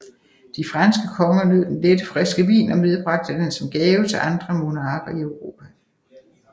De franske konger nød den lette og friske vin og medbragte den som gave til andre monarker i Europa